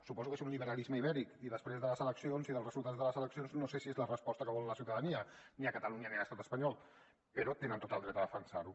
suposo que és un liberalisme ibèric i després de les eleccions i dels resultats de les eleccions no sé si és la resposta que vol la ciutadania ni a catalunya ni a l’estat espanyol però tenen tot el dret a defensar ho